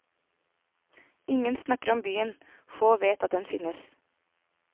Ingen snakker om byen, få vet at den finnes.